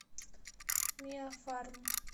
миафарм